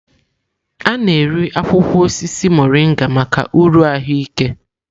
A na-eri akwụkwọ osisi Morịnga maka uru ahụike.